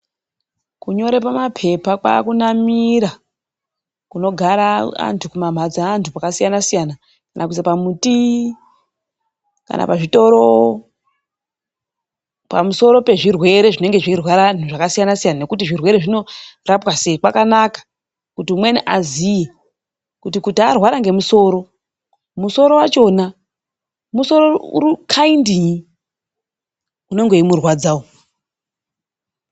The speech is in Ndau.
Kunyore pamaphepha, kwaakunamira kunogara antu, kumamhatso aantu kwakasiyana siyana. Kana kuisa pamuti, kana pazvitoro, pamusoro pezvirwere zvinenge zveirwara antu zvakasiyana siyana nekuti zvirwere zvinorapwa sei kwakanaka kuti umweni aziye kuti kuti arwara ngemusoro, musoro wachona, musoro rudzii, unenge weimurwadzawo.